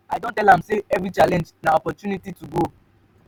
i don tell am sey every challenge na opportunity to grow.